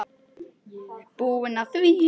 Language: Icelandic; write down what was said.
Ég er búinn að því!